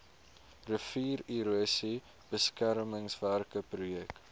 riviererosie beskermingswerke projek